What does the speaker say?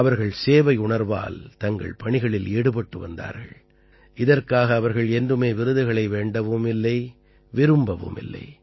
அவர்கள் சேவையுணர்வால் தங்கள் பணிகளில் ஈடுபட்டு வந்தார்கள் இதற்காக அவர்கள் என்றுமே விருதுகளை வேண்டவுமில்லை விரும்பவுமில்லை